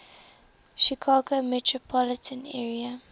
chicago metropolitan area